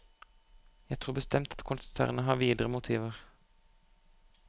Jeg tror bestemt at konsernet har videre motiver.